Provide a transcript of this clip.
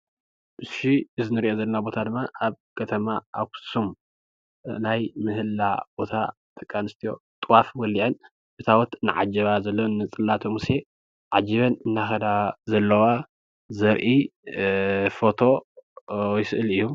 እዚ እንሪኦ ዘለና ቦታ ድማ አብ ከተማ አክሱም ናይ ምህሌላ ቦታ ደቂ አንስትዮ ጥዋፍ ወሊዐን ታቦት እናዓጀባ ዘለወን ንፅላተ ሙሴ ዓጂበን እናከዳ ዘለዋ ዘርኢ ፎቶ ወይ ስእሊ እዩ፡፡